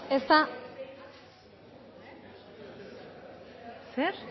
ez da zer